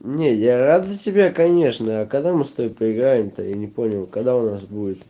не я рад за тебя конечно а когда мы с тобой поиграем то я не понял когда у нас будет